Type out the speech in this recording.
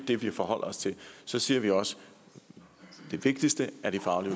det vi forholder os til så siger vi også at det vigtigste er de faglige